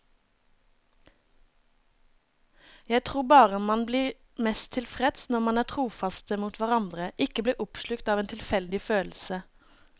Jeg tror bare man blir mest tilfreds når man er trofaste mot hverandre, ikke blir oppslukt av en tilfeldig følelse.